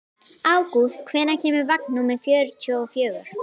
Ágúst, hvenær kemur vagn númer fjörutíu og fjögur?